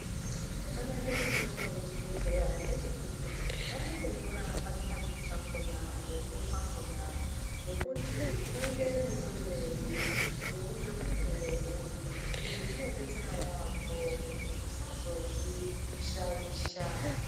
Chaka nakire mitombo ye chibhedhleya ndechekuti vanoto nyora pa chipakiti pakona huremu hwakona nekuti unoite mu mwirei nge mukuwo uri izvi zvino detsera yambo kuti usazozvi shaisha.